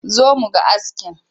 Zo mu ga askin!